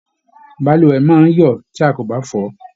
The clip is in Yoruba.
Balùwẹ̀ máa n yọ tí a kò bá fọ.